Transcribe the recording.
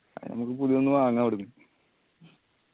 അത് ഇനി ഞമ്മക്ക് പുതിയ ഒന്ന് വാങ്ങാ അവ്ട്ന്ന്